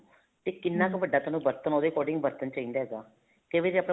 ਤੇ ਕਿੰਨਾ ਕ਼ ਵੱਡਾ ਤੁਹਨੂੰ ਬਰਤਨ ਉਹਦੇ according ਬਰਤਨ ਚਾਹੀਦਾ ਹੇਗਾ ਤੇ ਵੀ ਆਪਣੇ ਕੋਲ